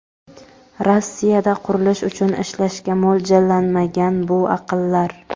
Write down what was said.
Rossiyada qurilish uchun ishlashga mo‘ljallanmagan bu aqllar.